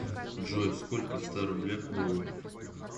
джой сколько в ста рублях долларов